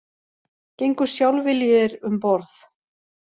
Gengu sjálfviljugir um borð